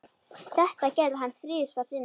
Þetta gerði hann þrisvar sinnum.